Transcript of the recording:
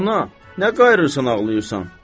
Ana, nə qayırsan, ağlayırsan?